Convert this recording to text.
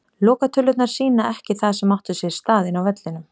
Lokatölurnar sýna ekki það sem átti sér stað inni á vellinum.